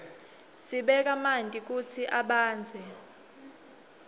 sibeka manti kutsi abandze